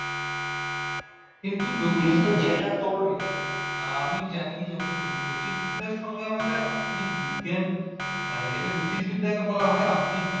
আমি জানি যতদূর জ্যোতিষবিদ্যার সঙ্গে আমাদের আধুনিক বিজ্ঞান মানে যেটা জ্যোতিষবিদ্যায় এটা বলা হয় আধুনিক বিজ্ঞান ।